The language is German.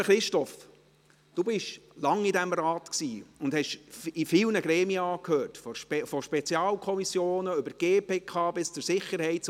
Lieber Christoph Grimm, Sie waren lange in diesem Rat und gehörten vielen Gremien an, von Spezialkommissionen über die GPK bis zur SiK und zur